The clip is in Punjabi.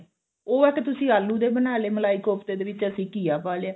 ਉਹ ਆ ਕੀ ਤੁਸੀਂ ਆਲੂ ਦੇ ਬਣਾ ਲਏ ਮਲਾਈ ਕੋਫਤੇ ਦੇ ਵਿੱਚ ਅਸੀਂ ਘੀਆ ਪਾ ਲਿਆ ਹਨਾ